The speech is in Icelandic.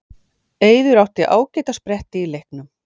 Eiður átti ágæta spretti í leiknum